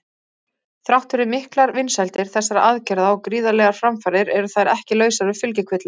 Þrátt fyrir miklar vinsældir þessara aðgerða og gríðarlegar framfarir eru þær ekki lausar við fylgikvilla.